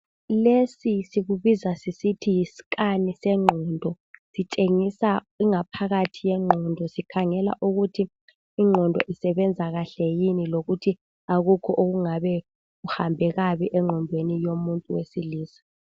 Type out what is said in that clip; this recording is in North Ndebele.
lesi sisbiza sisisthi yi scan senqondo sitshengisa ingaphakathi yenqondo sikhangela ukuthi inqondo isebenza kahle yini lokuthi akukho okungabe kuhambe kabi enqondweni yomuntu wesilisa